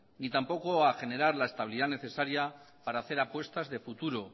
ni tampoco a generar la estabilidad necesaria para hacer apuestas de futuro